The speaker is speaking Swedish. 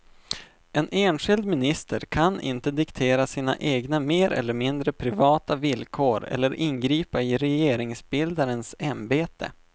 En enskild minister kan inte diktera sina egna mer eller mindre privata villkor eller ingripa i regeringsbildarens ämbete.